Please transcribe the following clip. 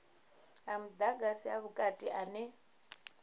a mudagasi a vhukati ane